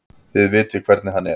Þið vitið hvernig hann er.